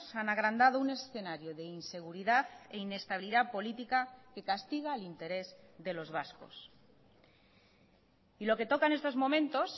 han agrandado un escenario de inseguridad e inestabilidad política que castiga el interés de los vascos y lo que toca en estos momentos